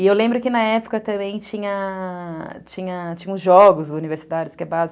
E eu lembro que, na época, também tinha... tinha... tinha... tinha... os jogos universitários, que é básico.